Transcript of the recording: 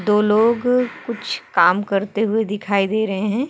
दो लोग कुछ काम करते हुए दिखाई दे रहे हैं।